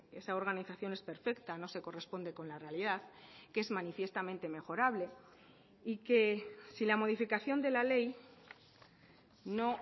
esa organización es perfecta no se corresponde con la realidad que es manifiestamente mejorable y que si la modificación de la ley no